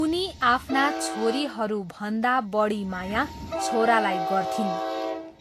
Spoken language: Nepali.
उनी आफ्ना छोरीहरूभन्दा बढी माया छोरालाई गर्थिन्